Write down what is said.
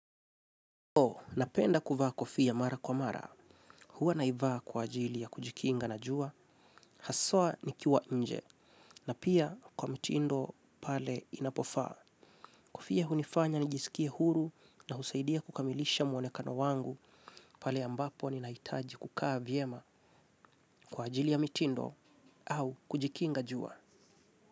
Oho, napenda kuvaa kofia mara kwa mara, huwa naivaa kwa ajili ya kujikinga na jua, haswa nikiwa nje, na pia kwa mitindo pale inapofaa. Kofia hunifanya nigisikia huru na husaidia kukamilisha mwonekano wangu, pale ambapo ni nahitaji kukaa vyema kwa ajili ya mitindo au kujikinga jua.